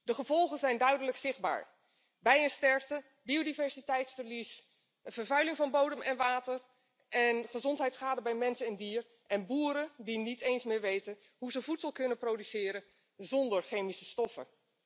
De gevolgen zijn duidelijk zichtbaar bijensterfte, biodiversiteitsverlies, vervuiling van bodem en water, gezondheidsschade bij mens en dier, en boeren die niet eens meer weten hoe ze voedsel kunnen produceren zónder chemische stoffen.